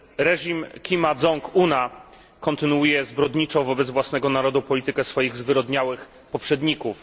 Reżim Kima Dzong Una kontynuuje zbrodniczą wobec własnego narodu politykę swoich zwyrodniałych poprzedników.